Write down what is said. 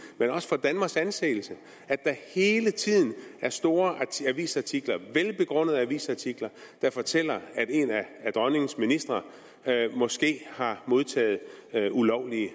men også for danmarks anseelse at der hele tiden er store avisartikler velbegrundede avisartikler der fortæller at en af dronningens ministre måske har modtaget ulovlige